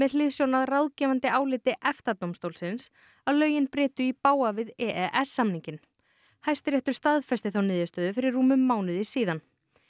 hliðsjón af ráðgefandi áliti EFTA dómstólsins að lögin brytu í bága við e e s samninginn Hæstiréttur staðfesti þá niðurstöðu fyrir rúmum mánuði síðan